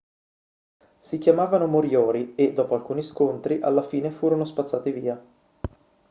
si chiamavano moriori e dopo alcuni scontri alla fine furono spazzati via